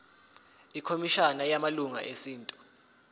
ikhomishana yamalungelo esintu